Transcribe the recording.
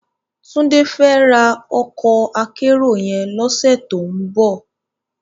Tunde fè rá òkò ákèérò yèn lòsè tó n bò